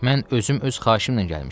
Mən özüm öz xahişimlə gəlmişəm.